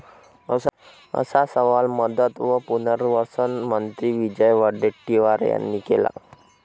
असा सवाल मदत व पुनवर्सन मंत्री विजय वडेट्टीवार यांनी केला आहे.